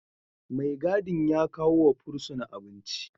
Mai gadin ya kawo wa fursuna abinci